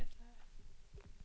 Dessutom ska jag gå på julotta.